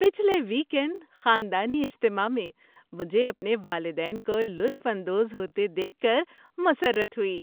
پچھلے ویکینڈ خاندانی اجتماع میں مجھے اپنے والدین کو لطف اندوز ہوتے دیکھ کر مسرت ہوئی۔